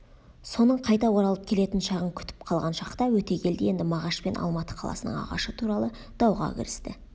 соның қайта оралып келетін шағын күтіп қалған шақта өтегелді енді мағашпен алматы қаласының ағашы туралы дауға кірісті